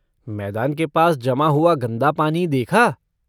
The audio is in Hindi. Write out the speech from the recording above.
मैदान के पास जमा हुआ गंदा पानी देखा?